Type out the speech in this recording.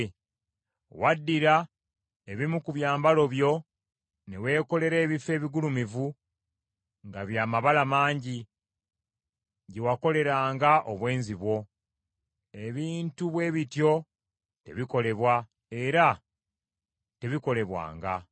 Waddira ebimu ku byambalo byo ne weekolera ebifo ebigulumivu nga byamabala mangi, gye wakoleranga obwenzi bwo. Ebintu bwe bityo tebikolebwa, era tebikolebwanga.